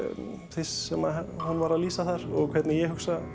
þess sem hún var að lýsa þar og hvernig ég hugsa